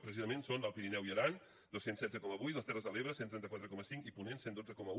precisament són l’alt pirineu i aran dos cents i setze coma vuit les terres de l’ebre cent i trenta quatre cinc i ponent cent i dotze coma un